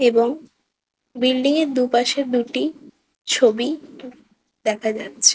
''এবং বিল্ডিং - এর দু''''পাশের দুটি ছবি দেখা যাচ্ছে।''